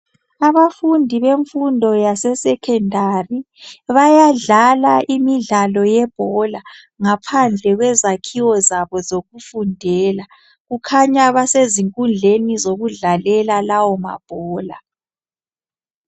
Abafundi bemfundo yase secondary bayadlala imidlalo yebhola ngaphandle kwezakhiwo zabo zokufundela kukhanya basezinkundleni zokudlalela lawo mabhola